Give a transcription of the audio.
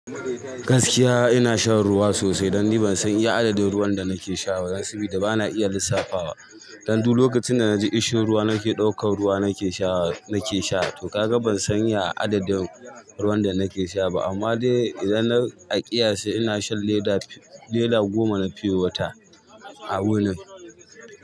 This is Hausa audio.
Gaskiya ina shan ruwa sosai, dan ni ban san iya adadin ruwan da nake sha ba, sabida bana iya lissafawa. Dan duk lokacin da naji ishiruwa nake ɗaukan ruwa nake sha nake sha. To ka ga ban san iya adadin ruwan da nake sha ba. Amma dai idan na aƙiyace ina shan leda goma na pure water a wuni.